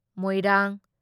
Moirang